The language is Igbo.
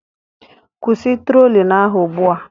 Kwụsị trolling ahụ ugbu a